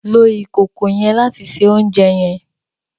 Lo ìkòkò yen láti se oúnjẹ yen!